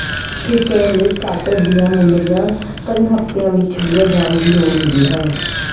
ਠੀਕ ਕਰਨ ਲਈ ਸਟਾਰਟਰ ਦੀਆਂ ਮੁੰਦਰੀਆਂ ਕਈ ਹਫਤਿਆਂ ਵਿਚ ਛੱਡੀਆਂ ਜਾਣ ਦੀ ਲੋੜ ਹੁੰਦੀ ਹੈ